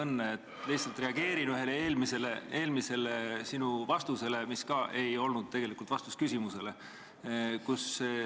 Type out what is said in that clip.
Ma lihtsalt reageerin ühele sinu eelmisele vastusele, mis ka ei olnud tegelikult vastus küsimusele.